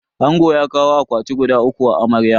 Angon ya kawo akwati guda uku ma amarya.